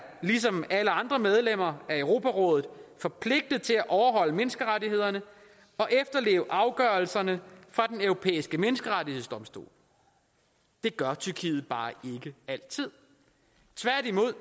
ligesom alle andre medlemmer af europarådet forpligtet til at overholde menneskerettighederne og efterleve afgørelserne fra den europæiske menneskerettighedsdomstol det gør tyrkiet bare ikke altid tværtimod